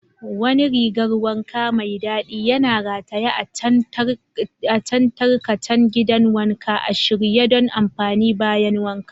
Wani rigar wanka mai dadi yana rataye a kan tarkacen gidan wanka, a shirye don amfani bayan wanka.